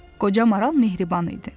Qoca maral mehriban idi.